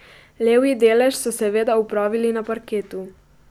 Levji delež so seveda opravili na parketu.